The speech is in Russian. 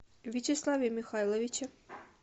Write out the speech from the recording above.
вячеславе михайловиче